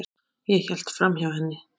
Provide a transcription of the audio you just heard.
Ég hélt framhjá henni.